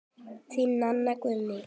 Þín, Nanna Guðný.